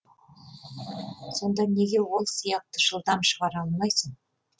сонда неге ол сияқты жылдам шығара алмайсың